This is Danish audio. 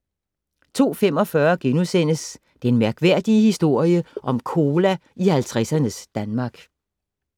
02:45: Den mærkværdige historie om cola i 50'ernes Danmark *